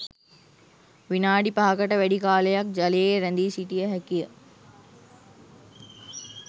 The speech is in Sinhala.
විනාඩි පහකට වැඩි කාලයක් ජලයේ රැඳී සිටිය හැකි ය